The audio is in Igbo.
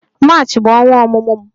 March bụ ọnwa ọmụmụ m